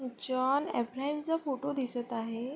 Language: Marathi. जॉन अब्राहम चा फोटो दिसत आहे.